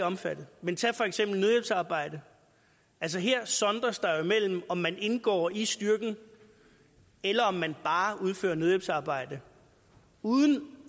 omfattet men tag for eksempel nødhjælpsarbejde altså her sondres der jo mellem om man indgår i styrken eller om man bare udfører nødhjælpsarbejde uden